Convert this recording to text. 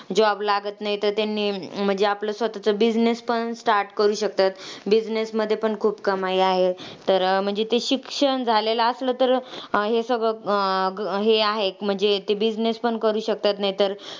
Job लागत नाहीतर त्यांनी म्हणजे आपलं स्वतःचं business पण start करू शकतात. Business मध्ये पण खूप कमाई आहे. तर म्हणजे ते शिक्षण झालेलं असलं तर हे सगळं अं हे आहे. म्हणजे ते business पण करू शकतात नाहीतर,